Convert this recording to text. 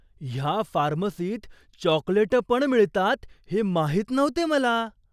ह्या फार्मसीत चॉकलेटं पण मिळतात हे माहीत नव्हते मला!